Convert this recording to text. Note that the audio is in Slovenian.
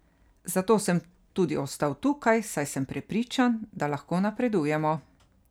Zato sem tudi ostal tukaj, saj sem prepričan, da lahko napredujemo.